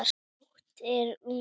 Nóttin er ung